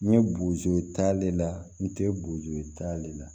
N ye bozo ta ale la n te bozo da ale la